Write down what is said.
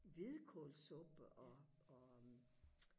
hvidkålssuppe og og